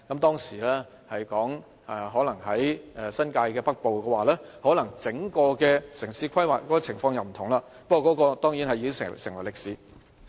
當時曾談及車站設在新界北部，這樣整個城市規劃又可能會不同了，不過那當然已成為歷史。